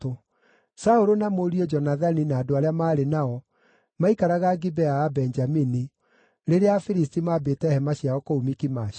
Saũlũ na mũriũ Jonathani na andũ arĩa maarĩ nao maikaraga Gibea ya Benjamini, rĩrĩa Afilisti maambĩte hema ciao kũu Mikimashi.